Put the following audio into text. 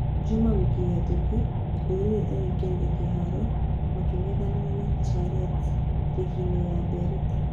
Jumaa wiki hetũku, Ndũruri ĩraingĩrire kĩraho making'ethanĩra na Charet rigi-inĩ ya Mberita.